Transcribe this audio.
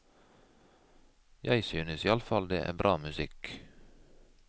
Jeg synes iallfall det er bra musikk.